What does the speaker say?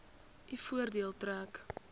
u voordeel trek